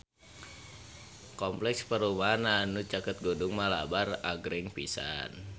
Kompleks perumahan anu caket Gunung Malabar agreng pisan